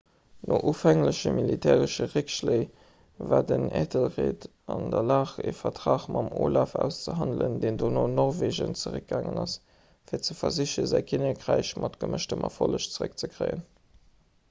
no ufängleche militäresche réckschléi war den æthelred an der lag e vertrag mam olaf auszehandelen deen dono an norwegen zeréckgaangen ass fir ze versichen säi kinnekräich mat gemëschtem erfolleg zeréckzekréien